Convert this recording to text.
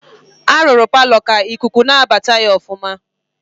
A rụrụ paalọ ka ikuku na-abata ya ọfụma.